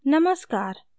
नमस्कार !